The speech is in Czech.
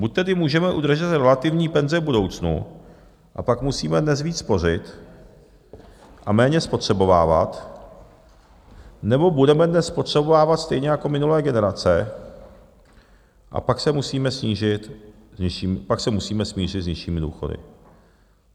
Buď tedy můžeme udržet relativní penze v budoucnu, a pak musíme dnes víc spořit a méně spotřebovávat, nebo budeme dnes spotřebovávat stejně jako minulé generace, a pak se musíme smířit s nižšími důchody.